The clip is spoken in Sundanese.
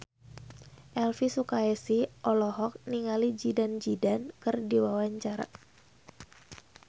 Elvi Sukaesih olohok ningali Zidane Zidane keur diwawancara